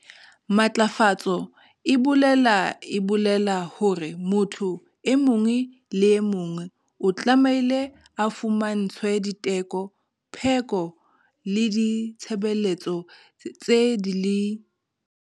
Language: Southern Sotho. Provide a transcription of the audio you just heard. Matlafatso e bolela e bolela hore motho e mong le e mong o tlamehile ho fumantshwe diteko, pheko le ditshebeletso tse di le.